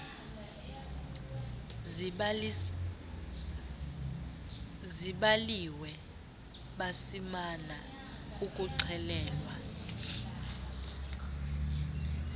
zibaliwe besimana ukuxelelwa